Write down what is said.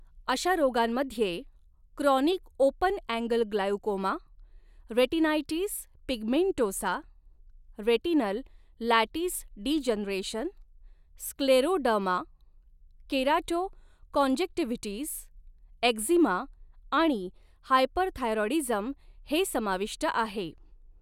अशा रोगांमध्ये chronic open angle glaucoma, retinitis pigmentosa, retinal lattice degeneration, scleroderma, keratoconjunctivitis, eczema आणि hyperthyroidism हे समाविष्ट आहे.